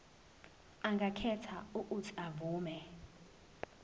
angakhetha uuthi avume